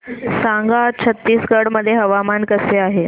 सांगा आज छत्तीसगड मध्ये हवामान कसे आहे